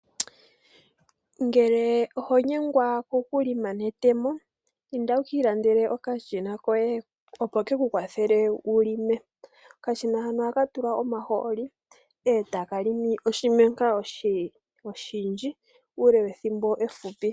Ngele oho nyengwa oku longa netemo, inda wu ka ilandele okashina koye opo ke ku kwathele wu longe . Okashina hano oha ka tulwa omahooli e taka longo oshimenka oshindji, uule wethimbo efupi.